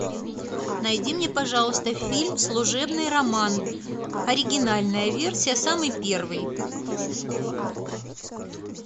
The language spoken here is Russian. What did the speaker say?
найди мне пожалуйста фильм служебный роман оригинальная версия самый первый